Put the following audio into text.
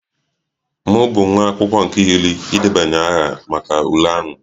M bụ nwa akwụkwọ nke iri idebanye aha maka ule ahụ